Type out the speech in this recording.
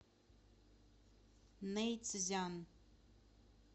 нэйцзян